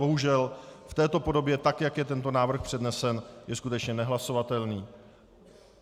Bohužel v této podobě, tak jak je tento návrh přednesen, je skutečně nehlasovatelný.